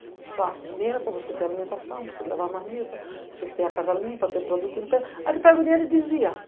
Tu faz dinheiro para você ter alimentação, para você levar a marmita, para você ter a casa limpa, para ter produto... Aí tu pega o dinheiro e desvia.